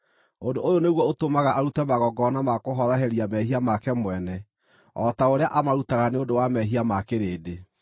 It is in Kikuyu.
Ũndũ ũyũ nĩguo ũtũmaga arute magongona ma kũhoroheria mehia make mwene, o ta ũrĩa amarutaga nĩ ũndũ wa mehia ma kĩrĩndĩ.